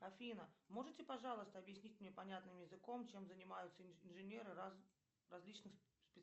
афина можете пожалуйста объяснить мне понятным языком чем занимаются инженеры различных